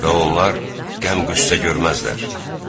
Və onlar qəm-qüssə görməzlər.